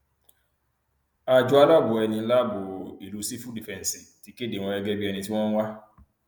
àjọ aláàbọ ẹni láàbọ ìlú sífù dìfẹǹsì ti kéde wọn gẹgẹ bíi ẹni tí wọn ń wá